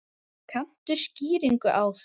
Kanntu skýringu á því?